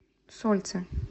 сольцы